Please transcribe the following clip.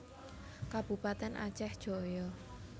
Kabupatèn Aceh Jaya